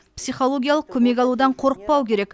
психологиялық көмек алудан қорықпау керек